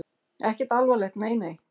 Ekkert alvarlegt, nei nei.